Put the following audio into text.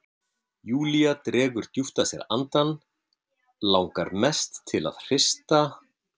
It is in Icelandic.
Júlía dregur djúpt að sér andann, langar mest til að hrista